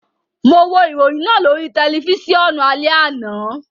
Mo wo iroyin naa lori tẹlifisiọnu alẹ ana